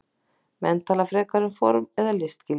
Menn tala frekar um form eða listgildi.